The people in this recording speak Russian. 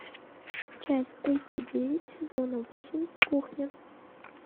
часть тридцать девять сезона восемь кухня